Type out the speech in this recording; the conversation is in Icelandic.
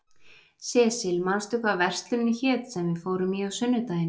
Sesil, manstu hvað verslunin hét sem við fórum í á sunnudaginn?